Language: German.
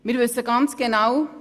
Wir wissen es ganz genau: